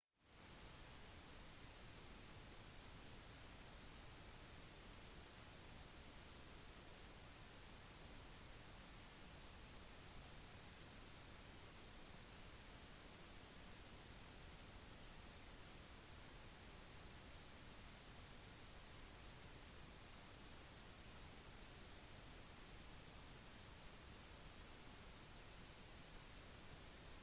det som preget romantikken var at landskapet formet enkeltpersoner og at det over tid oppstod geografiske vaner og kulturer og at disse da de harmonerte med posisjonen i samfunnet var bedre enn tilfeldig pålagte lover